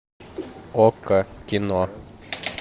окко кино